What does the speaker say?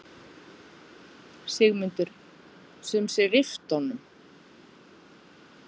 Sigmundur: Sum sé rifta honum?